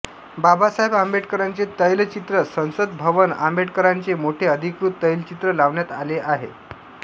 बाबासाहेब आंबेडकरांचे तैलचित्र संसद भवनआंबेडकरांचे मोठे अधिकृत तैलचित्र लावण्यात आले आहे